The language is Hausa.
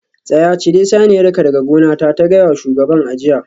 Tsaya! cire saniyarka daga gonata ta gaya wa shugaban a jiya